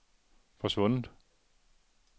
forsvundet